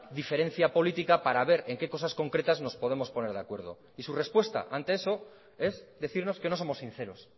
diferencia política para ver en qué cosas concretas nos podemos poner de acuerdo y su respuesta ante eso es decirnos que no somos sinceros